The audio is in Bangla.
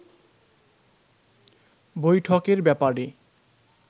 বৈঠকের ব্যাপারে